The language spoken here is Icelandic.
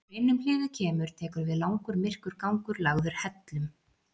Þegar innum hliðið kemur tekur við langur, myrkur gangur lagður hellum.